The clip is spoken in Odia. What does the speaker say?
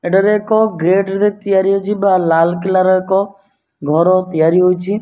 ଏଠାରେ ଏକ ଗେଟରେ ତିଆରି ହୋଇଛି ବ ଲାଲା କିଲ୍ଲାର ଏକ ଘର ତିଆରି ହୋଇଛି।